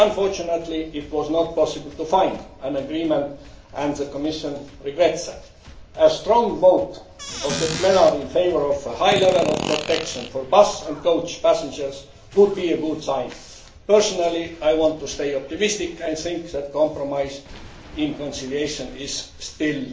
Unfortunately, it was not possible to find an agreement, and the Commission regrets that. A strong vote by the plenary in favour of a high level of protection for bus and coach passengers would be a good sign. Personally, I want to stay optimistic, and think that compromise in conciliation is